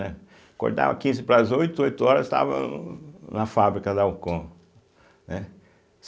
Né. Acordava quinze para as oito, oito horas estava na fábrica da Alcon, né